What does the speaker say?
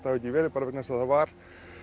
hafi ekki verið vegna þess að það var